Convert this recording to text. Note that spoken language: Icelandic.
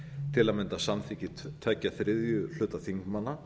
til að mynda samþykki tveggja þriðju hluta þingmanna